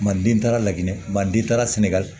Manden taara laɲini manden taara sɛnɛgali